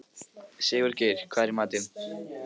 Sigurgeir, hvað er í matinn?